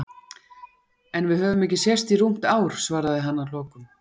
En við höfum ekki sést í rúmt ár, svaraði hann að lokum.